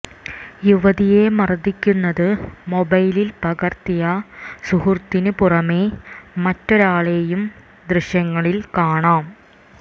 യുവതിയെ മർദിക്കുന്നത് മൊബൈലിൽ പകർത്തിയ സുഹൃത്തിനു പുറമേ മറ്റൊരാളെയും ദൃശ്യങ്ങളിൽ കാണാം